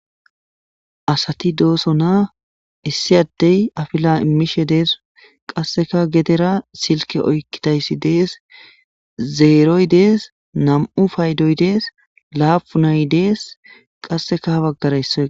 asati dooso na issi addey afila imishe dees qasseka gedera silke oykkidayssi dees zeeroy dees nam7u faydoy dees laapu nay dees qasseka habaggarayssoe